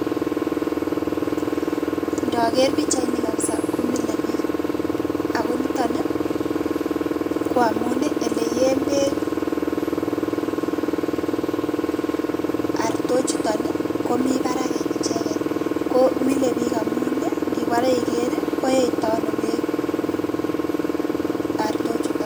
Ndoker pichaini kabisa komile biik ago niton ii koamuni eleyeen beek artok chuton komi barak en icheket ko mile biik amun ndipore iker koeito ono beek artok chuton.